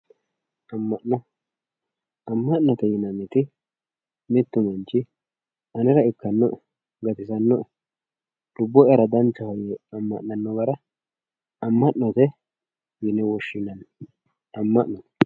amma'no amma'note yinannirich mittu manch anera ikkano'e gatisanno'e yee lubbo'yara danchaho yee amma'nano gara amma'note yine woshshinanni amma'no.